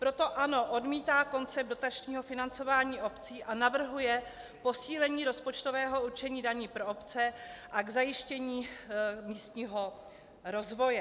Proto ANO odmítá koncept dotačního financování obcí a navrhuje posílení rozpočtového určení daní pro obce a k zajištění místního rozvoje."